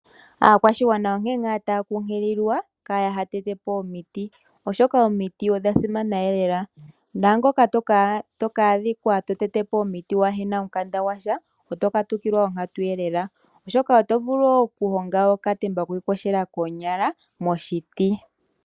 Aakwashigwana onkene ngaa taya kunkililwa kaya ha tete po omiti, oshoka omiti odha simana lela naangoka toka adhika to tete po omiti kuu na omukanda gwa sha oto katukilwa onkatu. Oto vulu okuhonga okatemba kokuiyogela koonyala moshiti.